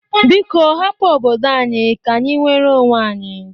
Biko hapụ obodo anyi ka-anyị nwere onwe anyị!